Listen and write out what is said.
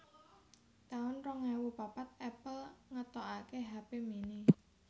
taun rong ewu papat Apple ngetokaké hape mini